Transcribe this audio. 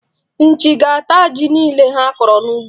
Nchi ga-ata ji niile ha kọrọ n'ugbo.